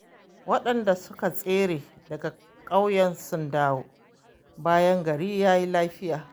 waɗanda suka tsere daga ƙauyen sun dawo, bayan gari ya yi lafiya.